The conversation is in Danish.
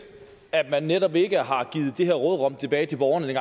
at man netop ikke har givet det her råderum tilbage til borgerne